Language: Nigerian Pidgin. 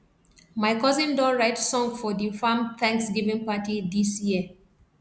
my cousin don write song for di farm thanksgiving party dis year